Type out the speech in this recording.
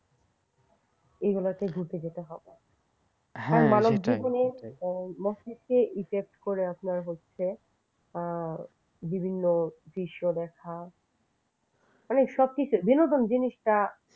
এগুলোতে ঘুরতে যেতে হবে মানব জীবনে মস্তিষ্কে effect করে যে বিভিন্ন দৃশ্য দেখা মানে সবকিছু বিনোদন জিনিসটা